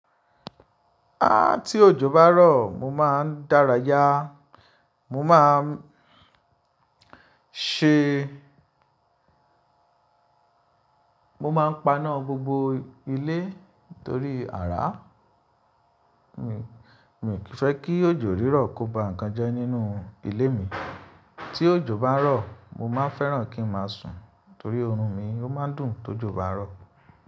Áà tí òjò bá rọ̀ mo máa ń dárayá. Mo máa ń ṣe, mo máa ń paná gbogbo ilé torí ara mi. Mi ò kì fẹ́ kí òjò rírọ̀ kó ba nǹkan jẹ́ nínú ilé mi. Tí òjò bá rọ̀, mo máa fẹ́ràn kí n máa sùn torí oorun mi ó máa ń dùn to òjò bá rọ̀